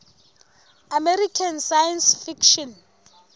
american science fiction